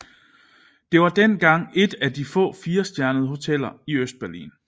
Det var dengang et af de få firestjernede hoteller i Østberlin